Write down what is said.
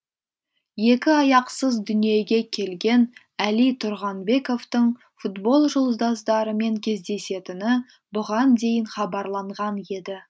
екі аяқсыз дүниеге келген әли тұрғанбековтың футбол жұлдыздарымен кездесетіні бұған дейін хабарланған еді